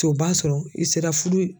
To b'a sɔrɔ i sera furu